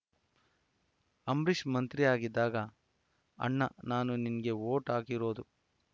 ಅಂಬರೀಷ್‌ ಮಂತ್ರಿಯಾಗಿದ್ದಾಗ ಅಣ್ಣಾ ನಾನು ನಿಂಗೇ ವೋಟ್‌ ಹಾಕಿರೋದು